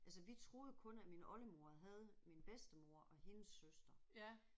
Altså vi troede jo kun at min oldemor havde min bedstemor og hendes søster